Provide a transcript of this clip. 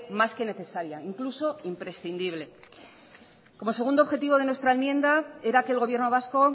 más que necesaria incluso imprescindible como segundo objetivo de nuestra enmienda era que el gobierno vasco